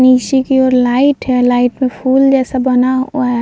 निचे की ओर लाईट है | लाईट में फूल जैसा बना हुआ है।